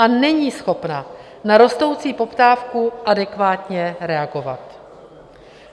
A není schopna na rostoucí poptávku adekvátně reagovat.